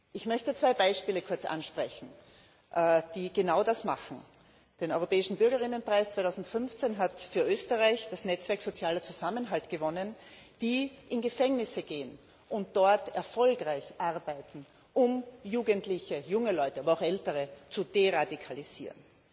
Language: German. Ich möchte zwei Beispiele kurz ansprechen, die genau das machen Den Europäischen Bürgerinnenpreis 2015 hat für Österreich das Netzwerk sozialer Zusammenhalt gewonnen, dessen Mitarbeiter in Gefängnisse gehen und dort erfolgreich arbeiten, um Jugendliche, junge Leute, aber auch ältere zu deradikalisieren.